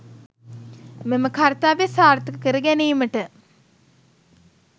මෙම කර්තව්‍ය සාර්ථක කරගැනීමට